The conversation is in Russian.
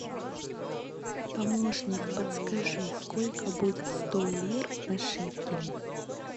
помощник подскажи сколько будет сто лир на шекели